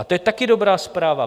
A to je taky dobrá zpráva.